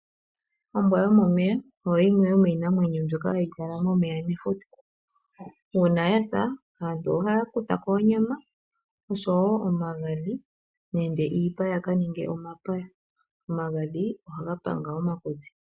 Ombwa yomomeya oyo yimwe yomiitekulwanamwenyo mbyoka hayi kala momeya mefuta. Uuna ya sa aantu ohaya kutha ko onyama oshowo omagadhi nenge iipa ya ka ninge omapaya. Omagadhi ohaga panga omakutsi.